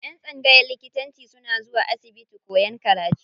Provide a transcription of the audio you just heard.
Yan tsangayan likitanci suna zuwa asibiti kowan karatu.